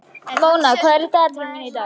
Móna, hvað er á dagatalinu mínu í dag?